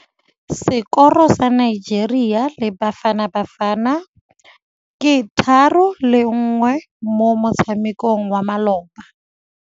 Sekôrô sa Nigeria le Bafanabafana ke 3-1 mo motshamekong wa malôba.